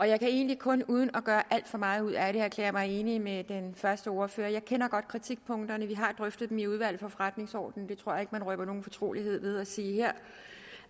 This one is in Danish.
jeg kan egentlig kun uden at gøre alt for meget ud af det erklære mig enig med den første ordfører jeg kender godt kritikpunkterne vi har drøftet dem i udvalget for forretningsordenen jeg tror ikke at man røber noget fortroligt her ved at sige